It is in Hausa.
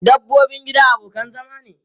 Dabbobin gida abokan zama ne.